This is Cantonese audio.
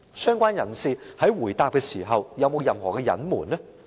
相關人士在回答時有否任何隱瞞？